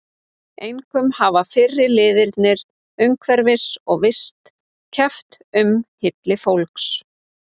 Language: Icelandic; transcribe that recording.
Einkum hafa fyrri liðirnir umhverfis- og vist- keppt um hylli fólks.